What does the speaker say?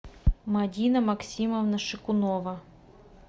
мадина максимовна шикунова